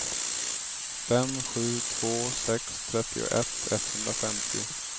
fem sju två sex trettioett etthundrafemtio